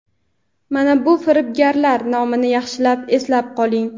mana bu firibgarlar nomini yaxshilab eslab qoling:.